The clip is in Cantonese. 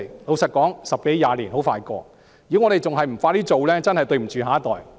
老實說，十多二十年很快過去，如果我們還不加快進行，真的對不起下一代。